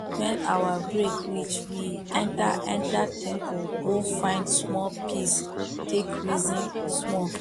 when our break reach we enter enter temple go find small peace take reason small